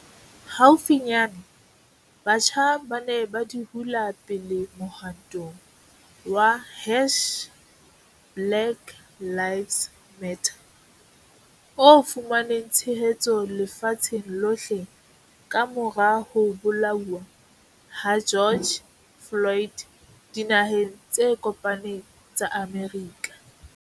Haufinyane, batjha ba ne ba di hula pele mohwantong wa hash-BlackLivesMatter o fumaneng tshehetso lefatsheng lohle ka-mora ho bolauwa ha George Floyd Dinaheng tse Kopaneng tsa Amerika.